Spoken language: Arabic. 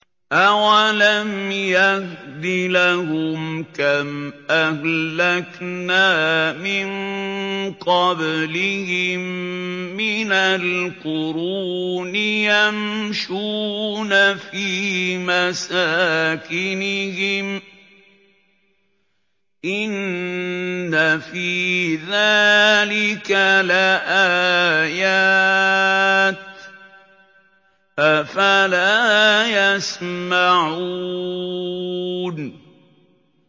أَوَلَمْ يَهْدِ لَهُمْ كَمْ أَهْلَكْنَا مِن قَبْلِهِم مِّنَ الْقُرُونِ يَمْشُونَ فِي مَسَاكِنِهِمْ ۚ إِنَّ فِي ذَٰلِكَ لَآيَاتٍ ۖ أَفَلَا يَسْمَعُونَ